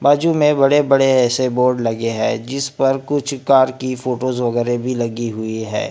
बाजू में बड़े बड़े ऐसे बोर्ड लगे हैं जिस पर कुछ कार की फोटोस वगैरह भी लगी हुई है।